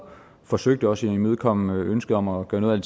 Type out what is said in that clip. forsøgte også at imødekomme ønsket om at gøre noget af